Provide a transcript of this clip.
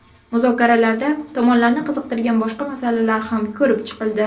Muzokaralarda tomonlarni qiziqtirgan boshqa masalalar ham ko‘rib chiqildi.